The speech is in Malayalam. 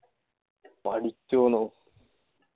പഠിച്ചോനോ